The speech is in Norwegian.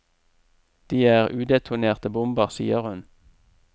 De er udetonerte bomber, sier hun.